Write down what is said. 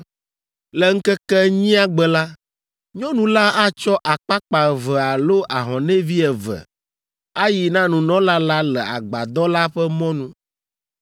Le ŋkeke enyia gbe la, nyɔnu la atsɔ akpakpa eve alo ahɔnɛvi eve ayi na nunɔla la le Agbadɔ la ƒe mɔnu.